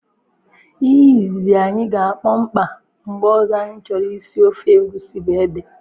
Ihe izizi anyị ga akpọ mkpa mgbe ọzọ anyị chọrọ isi ofe egusi bu ede